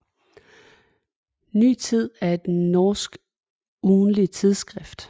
Ny Tid er et norsk ugentligt tidsskrift